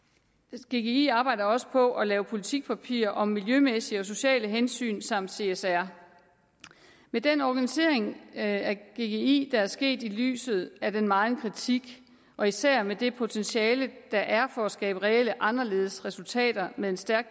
gggi arbejder også på at lave politikpapirer om miljømæssige og sociale hensyn samt csr med den organisering af gggi der er sket i lyset af den megen kritik og især med det potentiale der er for at skabe reelle anderledes resultater med en stærk